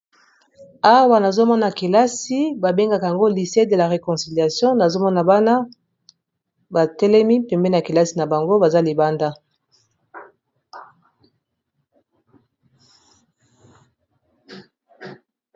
awa nazomona kelasi babengaka yango lisede la reconciliation nazomona bana batelemi pembe na kelasi na bango baza libanda